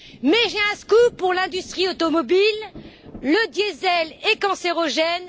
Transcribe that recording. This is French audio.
Mais j'ai un scoop pour l'industrie automobile le diesel est cancérogène.